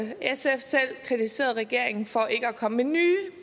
sf selv kritiseret regeringen for ikke at komme med nye